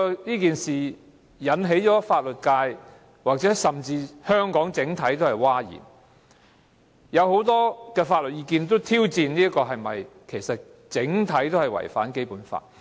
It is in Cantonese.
這建議引起法律界甚至香港整體社會譁然，有很多法律意見也提出挑戰，指此一做法其實整體違反了《基本法》。